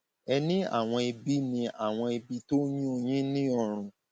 ẹ ní àwọn ibi ní àwọn ibi tó ń yún un yín ní ọrùn